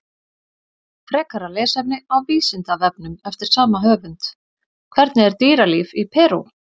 Frekara lesefni á Vísindavefnum eftir sama höfund: Hvernig er dýralíf í Perú?